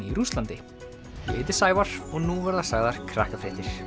í Rússlandi ég heiti Sævar og nú verða sagðar Krakkafréttir